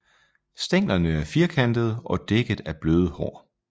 Stænglerne er firkantede og dækket af bløde hår